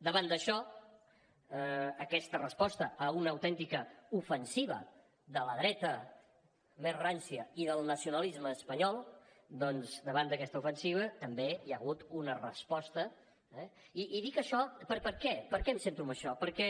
davant d’això aquesta resposta a una autèntica ofensiva de la dreta més rància i del nacionalisme espanyol doncs davant d’aquesta ofensiva també hi ha hagut una resposta eh i dic això per què per què em centro en això perquè